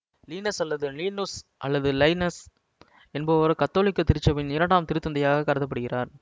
Linus அல்லது Linus அல்லது Linus என்பவர் கத்தோலிக்க திருச்சபையின் இரண்டாம் திருத்தந்தையாகக் கருத படுகிறார்